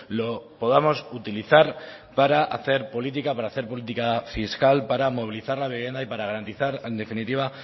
lo podamos utilizar para hacer política para hacer política fiscal para movilizar la vivienda y para garantizar en definitiva